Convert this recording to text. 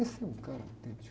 Esse é um cara autêntico.